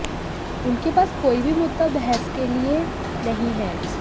उनके पास कोई भी मुद्दा बहस के लए नहीं है